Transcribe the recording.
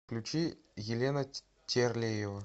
включи елена терлеева